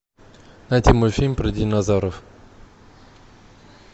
найди мультфильм про динозавров